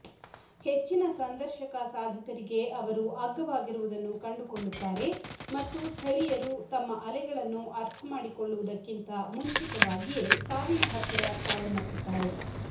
ಹೆಚ್ಚಿನ ಸಂದರ್ಶಕ ಸಾಧಕರಿಗೆ ಅವರು ಅಗ್ಗವಾಗಿರುವುದನ್ನು ಕಂಡುಕೊಳ್ಳುತ್ತಾರೆ ಮತ್ತು ಸ್ಥಳೀಯರು ತಮ್ಮ ಅಲೆಗಳನ್ನು ಅರ್ಥಮಾಡಿಕೊಳ್ಳುವುದಕ್ಕಿಂತ ಮುಂಚಿತವಾಗಿಯೇ ಸಾವಿನ ಹತ್ತಿರ ಸಾವನ್ನಪ್ಪುತ್ತಾರೆ